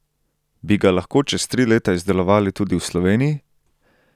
Bi ga lahko čez tri leta izdelovali tudi v Sloveniji?